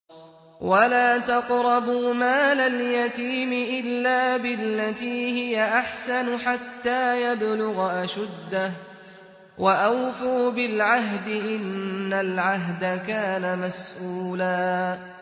وَلَا تَقْرَبُوا مَالَ الْيَتِيمِ إِلَّا بِالَّتِي هِيَ أَحْسَنُ حَتَّىٰ يَبْلُغَ أَشُدَّهُ ۚ وَأَوْفُوا بِالْعَهْدِ ۖ إِنَّ الْعَهْدَ كَانَ مَسْئُولًا